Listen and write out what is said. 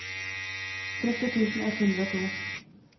tretti tusen ett hundre og to